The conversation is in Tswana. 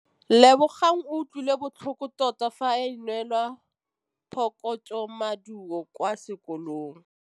Lebogang o utlwile botlhoko tota fa a neelwa phokotsômaduô kwa sekolong.